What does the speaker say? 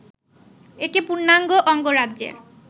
একে পূর্ণাঙ্গ অঙ্গরাজ্যের